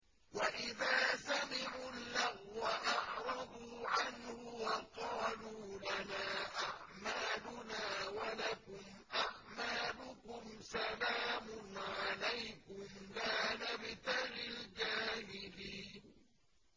وَإِذَا سَمِعُوا اللَّغْوَ أَعْرَضُوا عَنْهُ وَقَالُوا لَنَا أَعْمَالُنَا وَلَكُمْ أَعْمَالُكُمْ سَلَامٌ عَلَيْكُمْ لَا نَبْتَغِي الْجَاهِلِينَ